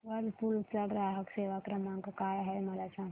Whirlpool चा ग्राहक सेवा क्रमांक काय आहे मला सांग